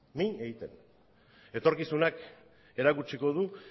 min egiten etorkizunak erakutsiko du